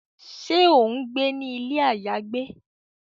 Ṣe o ngbé ni ilé ayagbe?